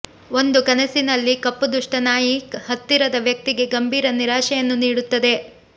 ಒಂದು ಕನಸಿನಲ್ಲಿ ಕಪ್ಪು ದುಷ್ಟ ನಾಯಿ ಹತ್ತಿರದ ವ್ಯಕ್ತಿಗೆ ಗಂಭೀರ ನಿರಾಶೆಯನ್ನು ನೀಡುತ್ತದೆ